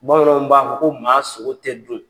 Bamananw b'a fɔ ko maa sogo tɛ dun.